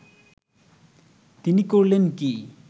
তিনি করলেন কি